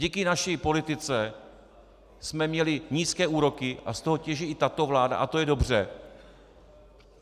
Díky naší politice jsme měli nízké úroky a z toho těží i tato vláda a to je dobře.